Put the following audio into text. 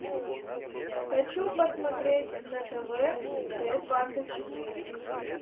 хочу посмотреть на тв т двадцать четыре